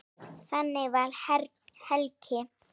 Þannig var Helgi.